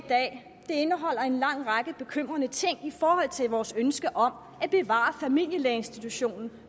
dag indeholder en lang række bekymrende ting i forhold til vores ønske om at bevare familielægeinstitutionen